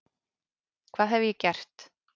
Hvað hef ég gert?